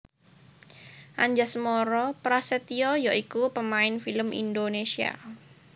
Anjasmara Prasetya ya iku pamain film Indonésia